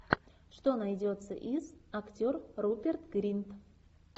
что найдется из актер руперт гринт